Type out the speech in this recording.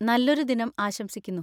നല്ലൊരു ദിനം ആശംസിക്കുന്നു!